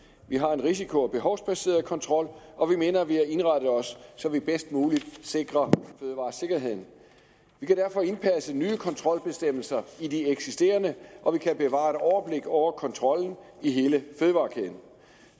vi har en risiko og behovsbaseret kontrol og vi mener at vi har indrettet os så vi bedst muligt sikrer fødevaresikkerheden vi kan derfor indpasse nye kontrolbestemmelser i de eksisterende og vi kan bevare et overblik over kontrollen i hele fødevarekæden